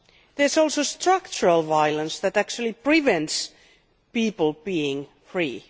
There is also structural violence that actually prevents people from being free.